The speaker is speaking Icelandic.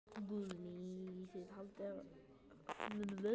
Guðný: Þið haldið fram sakleysi ykkar?